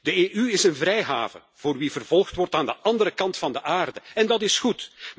De EU is een vrijhaven voor wie vervolgd wordt aan de andere kant van de aarde en dat is goed.